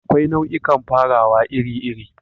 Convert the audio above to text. Akwai nau'ikan farawa iri-iri.